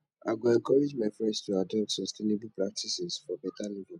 i go encourage my friends to adopt sustainable practices for better living